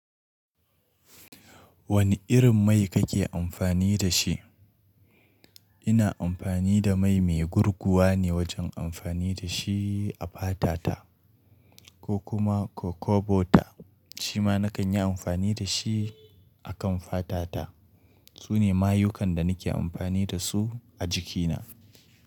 Wane irin mai kake amfani da shi? Ina amfani da mai mai gurguwa ne wajen amfani da shi a fata ta ko kuma coco butter shima nakanyi amfani dashi akan fatata Su ne mayukan da nake amfani da su a jikina.